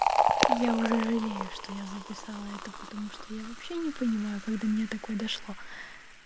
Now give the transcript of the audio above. я уже жалею что я записала это потому что я вообще не понимаю как до меня такое дошло